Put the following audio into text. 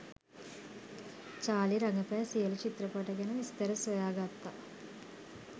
Charlie රඟපෑ සියලු චිත්‍රපට ගැන විස්තර සොයා ගත්තා